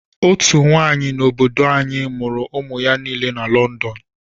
Otú nwaanyị n'obodo anyi mụrụ ụmụ ya nile na London.